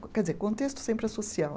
Quer dizer, contexto sempre é social.